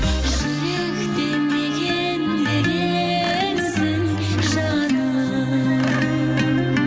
жүректе мекендегенсің жаным